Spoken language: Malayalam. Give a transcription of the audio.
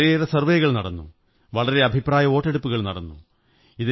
വളരെയേറെ സര്വ്വേ കൾ നടന്നു വളരെ അഭിപ്രായവോട്ടെടുപ്പുകൾ നടന്നു